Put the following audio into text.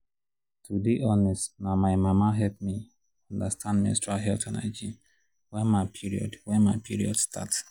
to dey honest na my mama help me understand menstrual health and hygiene wen my period wen my period start